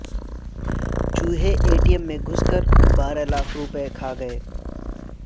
چوہے A T M میں گھس کر بارہ لاکھ روپے کھا گئے